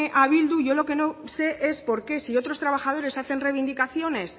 a bildu yo lo que no sé es por qué si otros trabajadores hacen reivindicaciones